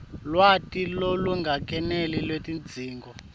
lwati lolungakeneli lwetidzingo